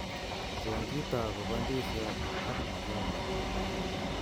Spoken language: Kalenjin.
Cheng kito akobo ndisiot ak machungwat